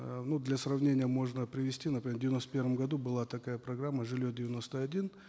э ну для сравнения можно привести например в девяносто первом году была такая программа жилье девяносто один